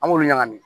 An b'olu ɲagami